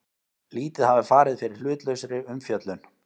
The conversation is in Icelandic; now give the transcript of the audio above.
Lítið hafi farið fyrir hlutlausri umfjöllun